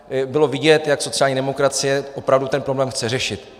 Bylo vidět, jak sociální demokracie opravdu ten problém chce řešit.